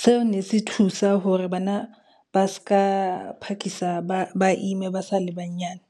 Seo ne se thusa hore bana ba se ka phakisa ba ime ba sa le banyane.